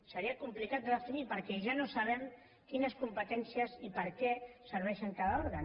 seria complicat de definir perquè ja no sabem quines competències i per a què serveix cada òrgan